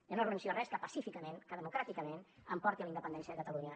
jo no renuncio a res que pacíficament que democràticament em porti a la independència de catalunya